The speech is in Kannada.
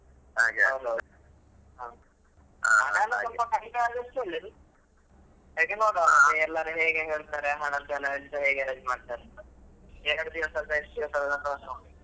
ಹಣ ಎಲ್ಲ ಸ್ವಲ್ಪ ಕಡಿಮೆ ಆದಷ್ಟು ಒಳ್ಳೇದು ಕೇಳಿ ನೋಡುವ ಮತ್ತೆ ಎಲ್ಲರೂ ಹೇಗೆ ಹೇಳ್ತಾರೆ ಅಂತೆಲ್ಲ ಹಣದೆಲ್ಲ ಹೇಗೆ help ಮಾಡ್ತಾರೆ ಅಂತ ಎರಡು ದಿವಸದ್ದಾ ಎಷ್ಟು .